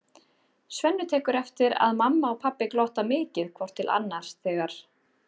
Svenni tekur eftir að mamma og pabbi glotta mikið hvort til annars þegar